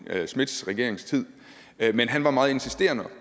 schmidts regeringstid han var meget insisterende